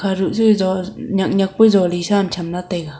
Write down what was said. aruh che jo nyak nyak pa jo li sa cham la taega.